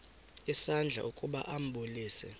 isandla ukuba ambulise